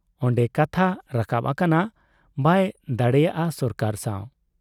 ᱚᱱᱰᱮ ᱠᱟᱛᱦᱟ ᱨᱟᱠᱟᱵ ᱟᱠᱟᱱᱟ ᱵᱟᱭ ᱫᱟᱜᱲᱮᱭᱟ ᱥᱚᱨᱠᱟᱨ ᱥᱟᱶ ᱾